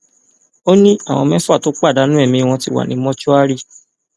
ó ní àwọn mẹfà tó pàdánù ẹmí wọn ti wà ní mọṣúárì